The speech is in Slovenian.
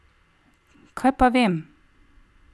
Kaj pa vem?